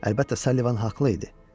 Əlbəttə, Sullivan haqlı idi.